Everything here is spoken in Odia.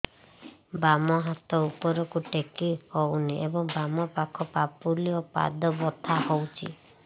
ବାମ ହାତ ଉପରକୁ ଟେକି ହଉନି ଏବଂ ବାମ ପାଖ ପାପୁଲି ଓ ପାଦ ବଥା ହଉଚି